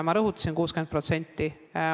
Ma rõhutasin seda 60%.